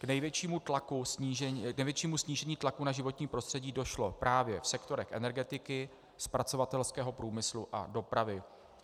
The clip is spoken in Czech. K největšímu snížení tlaku na životní prostředí došlo právě v sektorech energetiky, zpracovatelského průmyslu a dopravy.